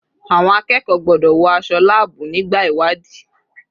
Àwọn akẹ́kọ̀ọ́ gbọ́dọ̀ wọ aṣọ láàbù nígbà ìwádìí.